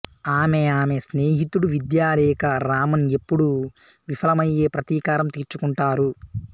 ఆమె ఆమె స్నేహితుడు విద్యాలేఖ రామన్ ఎప్పుడూ విఫలమయ్యే ప్రతీకారం తీర్చుకుంటారు